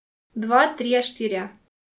Dva, trije, štirje.